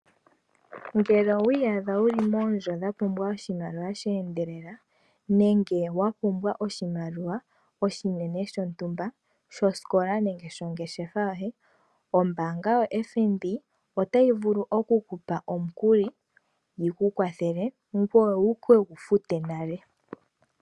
Ngele wiiyadha wu li moondjo dha pumbwa oshimaliwa sheendelela nenge wa pumbwa oshimaliwa oshinene shontumba shosikola nenge shongeshefa yoye ombanga yoFNB ota yi vulu okukupa omukuli wiikwathele ngoye wu kegu fute nale.